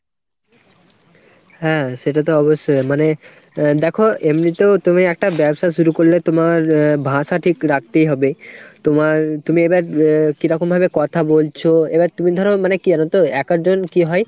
হ্যাঁ সেটা তো অবশ্যই মানে দ্যাখো এমনিতেও তুমি একটা ব্যবসা শুরু করলে তোমার আহ ভাষা ঠিক রাখতেই হবে। তোমার তুমি এ এবার কিরকম ভাবে কথা বলছো ? এবার তুমি ধরো মানে কী জানোতো এক এক জন কী হয়